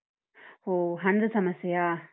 ಹೊ ಹಣದ ಸಮಸ್ಯೆಯಾ?